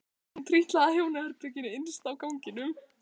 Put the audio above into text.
Hún trítlaði að hjónaherberginu innst á ganginum.